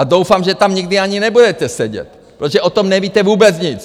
A doufám, že tam nikdy ani nebudete sedět, protože o tom nevíte vůbec nic!